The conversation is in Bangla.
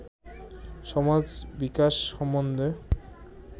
সমাজ-বিকাশ সম্বন্ধে